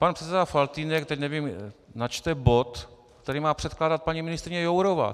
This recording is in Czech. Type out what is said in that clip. Pan předseda Faltýnek, teď nevím, načte bod, který má předkládat paní ministryně Jourová.